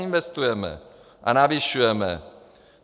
Investujeme a navyšujeme.